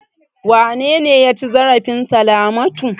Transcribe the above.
Wane ne ya ci zarafin Salamatu?